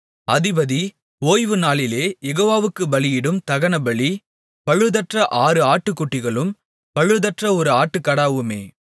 அதிபதி ஓய்வுநாளிலே யெகோவாவுக்குப் பலியிடும் தகனபலி பழுதற்ற ஆறு ஆட்டுக்குட்டிகளும் பழுதற்ற ஒரு ஆட்டுக்கடாவுமே